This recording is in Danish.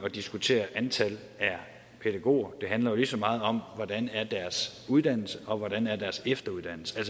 at diskutere antallet af pædagoger det handler jo lige så meget om hvordan deres uddannelse og hvordan deres efteruddannelse er